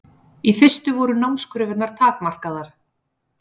Í fyrstu voru námskröfurnar takmarkaðar.